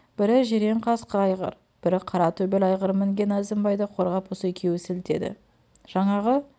бірі жирен қасқы айғыр бірі қара төбел айғыр мінген әзімбайды қорғап осы екеуі сілтеді жаңағы